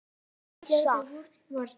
og saft.